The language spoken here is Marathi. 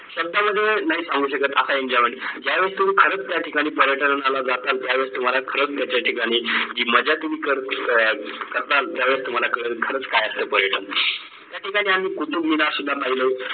शब्दा मध्ये नाय सांगू शकत असं enjoyment ज्या वेळेस तुम्ही खरंच या ठिकाणी पर्यटनाला जाताल त्यावेळेस तुम्हाला खरंच याच्या ठिकाणी जी मज्जा तुम्ही कर करताल त्यावेळेस तुम्हाला कळेल खरंच काय असतं पर्यटन या ठिकाणी कुतुब मिनार सुद्धा पाहिलं